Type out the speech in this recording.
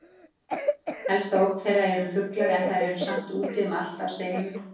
Helsta ógn þeirra eru fuglar en þær eru samt úti um allt á steinunum.